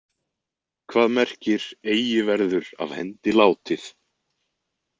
Hvað merkir Eigi verður af hendi látið?